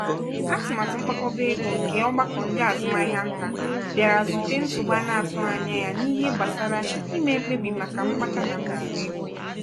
"atụmatụ mkpakọba ego nke ọgbakọ ndị azụmahịa ntà bịara zute nsogbụ ana-atụghị anya ya n'ihe gbasara ime mkpebi màkà mkpata na mmefu ego."